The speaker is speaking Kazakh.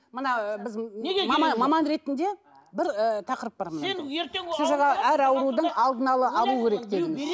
мына біз маман маман ретінде бір ы тақырып бар сіз жаңа әр аурудың алдын ала алу керек дегенсіз